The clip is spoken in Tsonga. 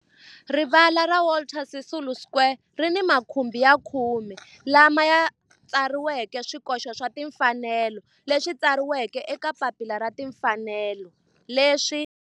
Rivala ra Walter Sisulu Square ri ni makhumbi ya khume lawa ma tsariweke swikoxo swa timfanelo leswi tsariweke eka papila ra timfanelo leswi